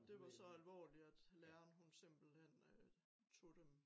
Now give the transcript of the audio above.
Det var så alvorligt at læreren hun simpelthen øh tog dem